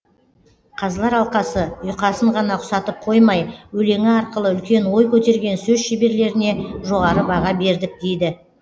қазылар алқасы ұйқасын ғана ұқсатып қоймай өлеңі арқылы үлкен ой көтерген сөз шеберлеріне жоғары баға бердік дейді